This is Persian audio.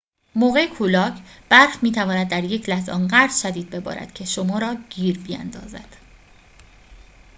موقع کولاک برف می‌تواند در یک لحظه آنقدر شدید ببارد که شما را گیر بیندازد